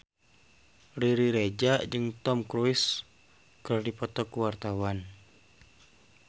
Riri Reza jeung Tom Cruise keur dipoto ku wartawan